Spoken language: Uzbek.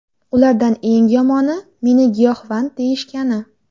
Ulardan eng yomoni meni giyohvand deyishgani.